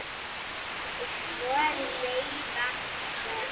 Og svo leiðast mér börn.